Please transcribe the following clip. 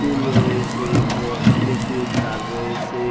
টুল রয়েসে ও ইলেকট্রিক তার রয়েসে।